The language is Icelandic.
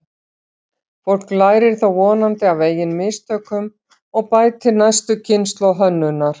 Fólk lærir þó vonandi af eigin mistökum og bætir næstu kynslóð hönnunar.